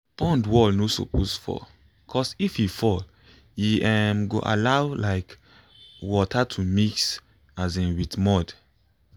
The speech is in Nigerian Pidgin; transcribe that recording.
pond wall no suppose fall cos if e fall e um go allow um water de mix with asin mud